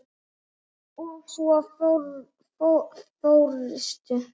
Og svo fórstu.